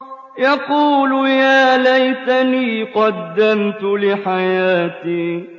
يَقُولُ يَا لَيْتَنِي قَدَّمْتُ لِحَيَاتِي